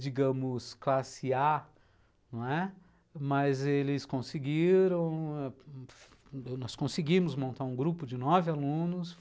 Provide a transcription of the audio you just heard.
digamos, classe A, não é? mas eles conseguiram, nós conseguimos montar um grupo de nove alunos.